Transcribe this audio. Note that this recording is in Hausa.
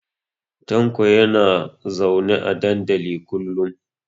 Tanko yana zaune a dandalin kullun.